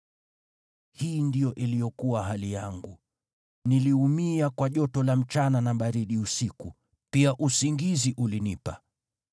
Hii ndiyo iliyokuwa hali yangu: Niliumia kwa joto la mchana na baridi usiku, pia usingizi ulinipa.